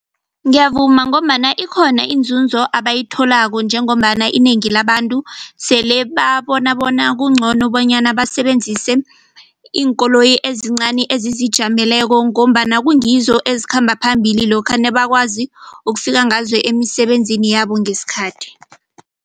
Ngiyavuma ngombana ikhona iinzunzo abayitholako njengombana inengi labantu sele babona bona kungcono bonyana basebenzise iinkoloyi ezincani ezizijameleko ngombana kungizo ezikhamba phambili lokha nebakwazi ukufika ngazo emisebenzini yabo ngesikhathi.